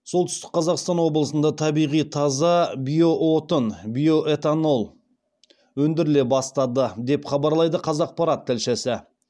солтүстік қазақстан облысында табиғи таза биоотын биоэтанол өндіріле бастады деп хабарлайды қазақпарат тілшісі